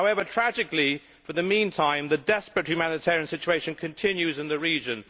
However, tragically, for the meantime the desperate humanitarian situation continues in the region.